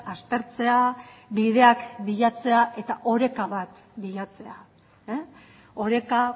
aztertzea bideak bilatzea eta oreka bat bilatzea oreka